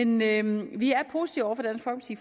men vi er positive over